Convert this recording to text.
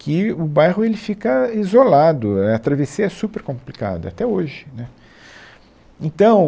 que o bairro ele fica isolado, é, a travessia é super complicada, até hoje, né. Então